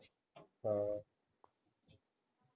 ਹਾਂ